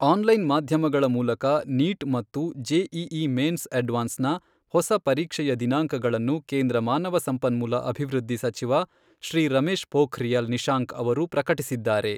Online ಮಾಧ್ಯಮಗಳ ಮೂಲಕ NEET ಮತ್ತು ಜೆಇಇ ಮೇನ್ಸ್ ಅಡ್ವಾನ್ಸ್ನ ಹೊಸ ಪರೀಕ್ಷೆಯ ದಿನಾಂಕಗಳನ್ನು ಕೇಂದ್ರ ಮಾನವ ಸಂಪನ್ಮೂಲ ಅಭಿವೃದ್ಧಿ ಸಚಿವ ಶ್ರೀ ರಮೇಶ್ ಪೋಖ್ರಿಯಲ್ ನಿಶಾಂಕ್ ಅವರು ಪ್ರಕಟಿಸಿದ್ದಾರೆ.